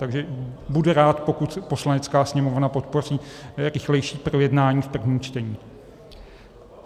Takže budu rád, když Poslanecká sněmovna podpoří rychlejší projednání v prvním čtení.